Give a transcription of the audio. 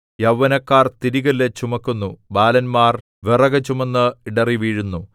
യൗവനക്കാർ തിരികല്ല് ചുമക്കുന്നു ബാലന്മാർ വിറകുചുമന്ന് ഇടറി വീഴുന്നു